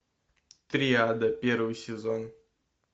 триада первый сезон